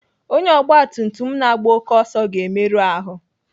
Onye ọgbatumtum na-agba oké ọsọ ga-emerụ ahụ.